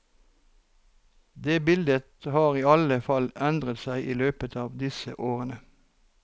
Det bildet har i alle fall endret seg i løpet av disse årene.